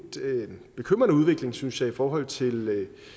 bekymrende udvikling synes jeg i forhold til